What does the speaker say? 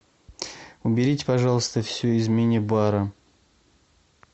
уберите пожалуйста все из мини бара